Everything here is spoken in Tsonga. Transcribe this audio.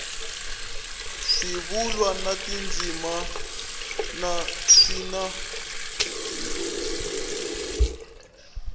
swivulwa na tindzimana swi na